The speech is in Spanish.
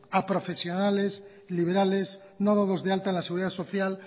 a profesionales liberales no dados de alta en la seguridad social